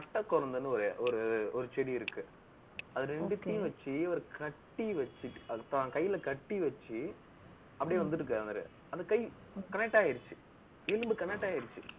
கட்டைக்கொரந்துன்னு ஒரு ஒரு ஒரு செடி இருக்கு. அது ரெண்டுத்தையும் வச்சு, ஒரு கட்டி வச்சு, அது தான் கையில கட்டி வச்சு, அப்படியே வந்துட்டு இருக்காரு அவரு. அந்த கை connect ஆயிடுச்சு. எலும்பு connect ஆயிடுச்சு.